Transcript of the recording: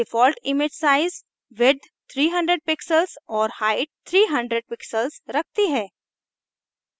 default image size width 300 pixels और height 300 pixels रखती है